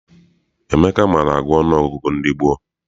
Emeka maara agụ ọnụọgụgụ ndị gboo.